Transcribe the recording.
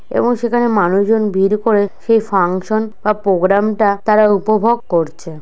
এবং সেখানে মানুষজন ভিড় করে সেই ফাংশন বা প্রোগ্রাম টা তারা উপভোগ করছে।